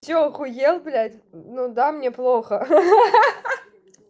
что охуел блядь ну да мне плохо ха-ха